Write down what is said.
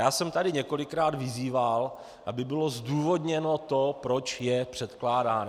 Já jsem tady několikrát vyzýval, aby bylo zdůvodněno to, proč je předkládán.